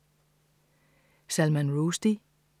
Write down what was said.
Salman Rushdie